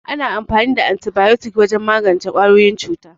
Ana amfani da Antibayotik wajen magance ƙwayoyin cuta.